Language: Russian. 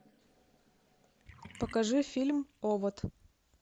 покажи фильм овод